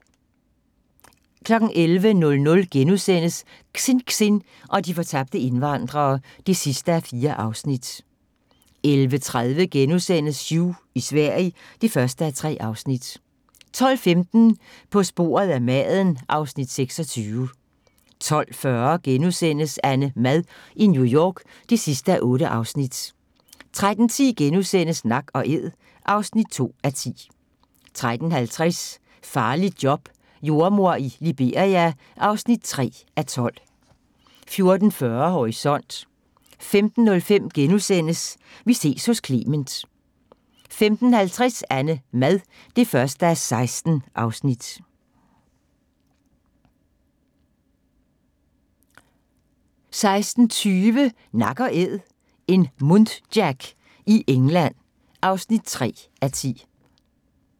11:00: Xinxin og de fortabte indvandrere (4:4)* 11:30: Hugh i Sverige (1:3)* 12:15: På sporet af maden (Afs. 26) 12:40: AnneMad i New York (8:8)* 13:10: Nak & æd (2:10)* 13:50: Farligt job – jordemor i Liberia (3:12) 14:40: Horisont 15:05: Vi ses hos Clement * 15:50: AnneMad (1:16) 16:20: Nak & æd - en muntjac i England (3:10)